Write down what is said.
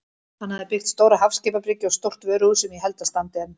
Hann hafði byggt stóra hafskipabryggju og stórt vöruhús sem ég held að standi enn.